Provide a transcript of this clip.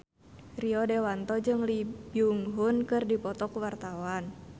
Rio Dewanto jeung Lee Byung Hun keur dipoto ku wartawan